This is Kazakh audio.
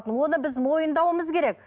оны біз мойындауымыз керек